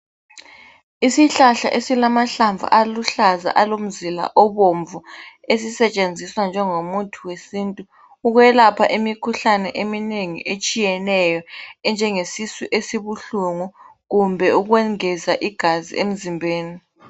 Isihlahla esilamahlamvu aluhlaza alomzila obomvu esisetshenziswa njengomuthi wesintu ukwelapha imikhuhlane eminengi etshiyeneyo enjengesisu esibuhlungu kumbe ukwengeza igazi emzimbeni.